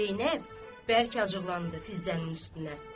Zeynəb, bəlkə acıqlandı Fizzənin üstünə.